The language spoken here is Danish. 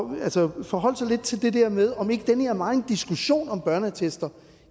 ministeren forholdt sig lidt til det der med om ikke den her megen diskussion om børneattester